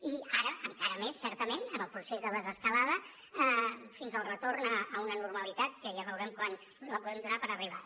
i ara encara més certament en el procés de desescalada fins al retorn a una normalitat que ja veurem quan la podem donar per arribada